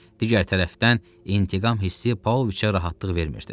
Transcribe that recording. Digər tərəfdən intiqam hissi Pavloviçə rahatlıq vermirdi.